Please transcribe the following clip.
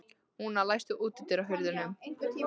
Húna, læstu útidyrunum.